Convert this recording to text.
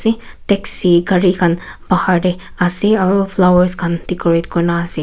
taxi gari khan bahar tae ase aro flowers khan decorate kurina ase.